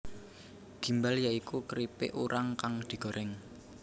Gimbal ya iku kripik urang kang digoreng